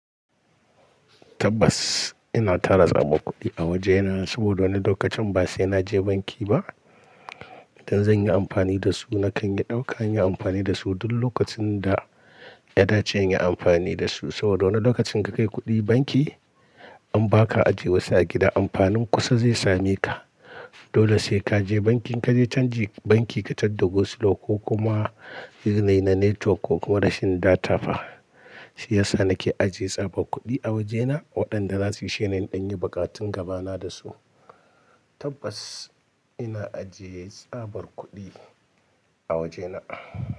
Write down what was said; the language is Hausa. Tabbas ina tara tsabar kuɗi a wajena, saboda wani lokacin ba sai naje banki ba. Idan zan yi amfani da su, nakan yi ɗauka, nayi amfani da su duk lokacin da ya dace in yi amfani da su. Saboda wani lokacin ka kai kuɗi banki in baka aje wasu a gida, amfanin kusa zai same ka. Dole sai kaje banki, in kaje canji banki ka tarda go slow ko kuma yanayi na network ko kuma rashin data fa. Shi yasa nake ajiye tsabar kuɗi a wajena, waɗanda zasu isheni in ɗan yi buƙatan gaba na da su. Tabbas ina ajiye tsabar kuɗi a wajena.